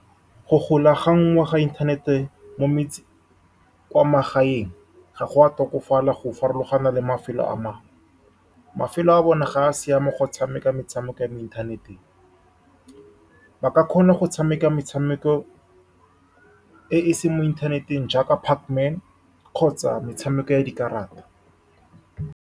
Go golaganngwa ga inthanete mo kwa magaeng ga go a tokafala, go farologana le mafelo a mangwe. Mafelo a bona ga a siama go tshameka metshameko mo inthaneteng, ba ka kgona go tshameka metshameko e e seng mo inthaneteng jaaka Pac-Man kgotsa metshameko ya dikarata.